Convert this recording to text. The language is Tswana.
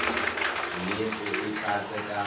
mme o e tlatse ka